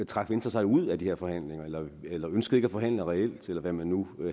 trak venstre sig ud af de her forhandlinger eller ønskede ikke at forhandle reelt eller hvad man nu